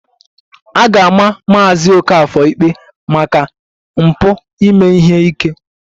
A ga-ama Maazị Okafor ikpe maka mpụ ime ihe ike